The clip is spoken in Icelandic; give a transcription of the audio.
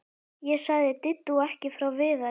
Ég sagði Diddu ekki frá Viðari.